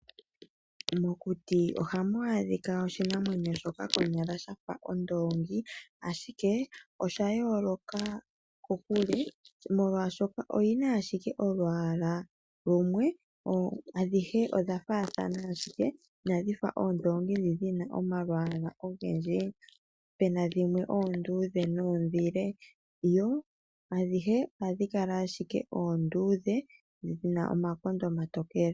Mokuti oha mu adhika oshinamwenyo shoka shafa ondoongi, ashike oshayooloka kokule, molwaashoka oyi na ashike olwaala lumwe. Adhihe odhafaathana, inadhifa oondoongi ndhi dhina omalwaala ogendji, puna dhimwe oonduudhe noondhile, yo adhihe ohadhikala ashike oondudhe, dhina omakonda omaluudhe nomatokele.